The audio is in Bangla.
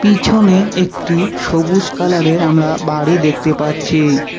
পিছনে একটি সবুজ কালারের আমরা বাড়ি দেখতে পাচ্ছি।